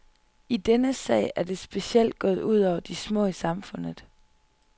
I denne sag er det specielt gået ud over de små i samfundet.